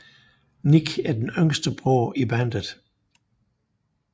Nick er den yngste bror i bandet